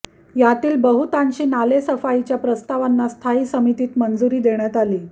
यातील बहुतांशी नालेसफाईच्या प्रस्तावांना स्थायी समितीत मंजुरी देण्यात आली